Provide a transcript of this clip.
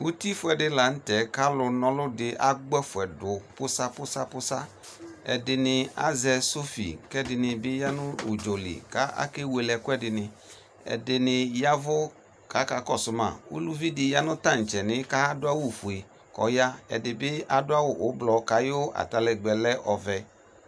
Uti fuɛde lantɛ ka ali na alɔ de agbɔ ɛfɛ do pusapusapusapusa Ɛdene azɛ sofi kɛ ɛdene be ya no ktsɔli ka ake wele ɛkude ne Ɛdene yavu kaka kɔso ma Uluvi de ya no tantsɛ ni kado awufue kɔ ya, Ɛde be ado awu ublɔ kayo ataligbɛ lɛ ɔvɛ